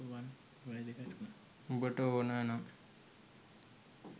උඹට ඕන නම්